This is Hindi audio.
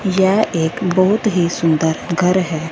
यह एक बहुत ही सुंदर घर है।